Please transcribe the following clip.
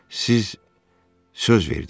Siz söz verdiz.